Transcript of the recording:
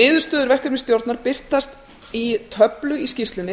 niðurstöður verkefnisstjórnar birtast í töflu í skýrslunni þar